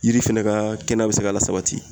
Yiri fɛnɛ ka kɛnɛya be se ka lasabati